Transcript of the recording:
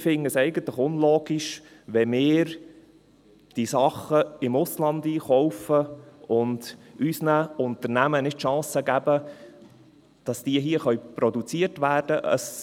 Ich finde es eigentlich unlogisch, wenn wir diese Sachen im Ausland einkaufen und unseren Unternehmen nicht die Chance geben, dass diese hier produziert werden können.